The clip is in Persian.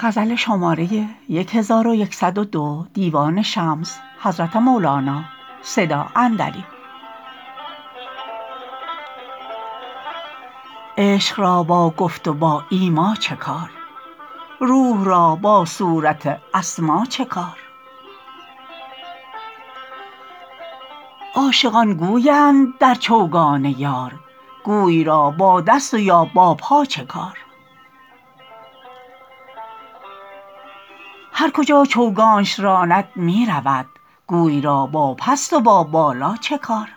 عشق را با گفت و با ایما چه کار روح را با صورت اسما چه کار عاشقان گوی اند در چوگان یار گوی را با دست و یا با پا چه کار هر کجا چوگانش راند می رود گوی را با پست و با بالا چه کار